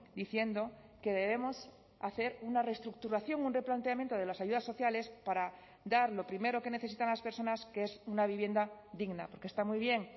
diciendo que debemos hacer una reestructuración un replanteamiento de las ayudas sociales para dar lo primero que necesitan las personas que es una vivienda digna porque está muy bien